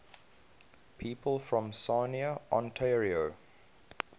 people from sarnia ontario